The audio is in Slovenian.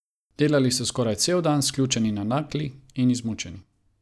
Delali so skoraj cel dan, sključeni nad nakli in izmučeni.